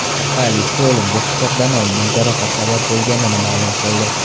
Politsiya o‘limga pichoqdan olingan jarohat sabab bo‘lganini ma’lum qildi.